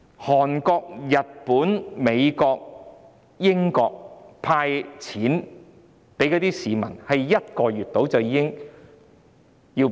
韓國、日本、美國、英國向市民派發現金，只須約1個月就已經做到。